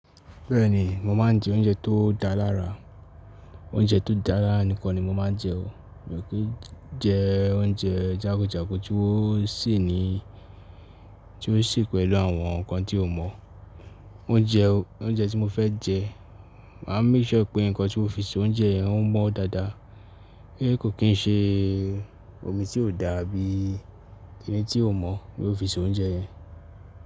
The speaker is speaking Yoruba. Bẹ́ẹ̀ni, mo máa ń jẹ oúnjẹ tó dá lára. Oúnjẹ tó dá lára nìkan ni mo máa ń jẹ o. Mi ò kí ń jẹ oúnjẹ jàkujàku tí wọ́n ń sè pẹ̀lú àwọn nǹkan tí o mọ̀. Oúnjẹ tí mo fẹ́ jẹ, màá make sure pé nǹkan tí wọ́n fi se oúnjẹ yẹn ń mọ́ dáadáa. Kì í ṣe omi tí ò dáa àbí kini tí o mọ̀ ní wọ́n fi se oúnjẹ yẹn.